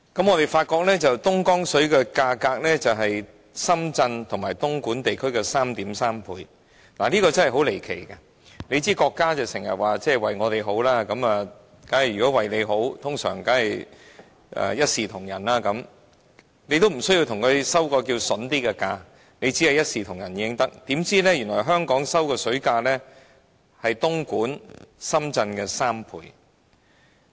我們發現，在東江水的價格上，香港是深圳和東莞地區的 3.3 倍，這真的是很離奇，大家知道，國家經常表示為我們好，如為我們好，當然應一視同仁，已經不要說較為優惠的價格，只要求一視同仁便可，怎料香港支付的水價是深圳和東莞的3倍。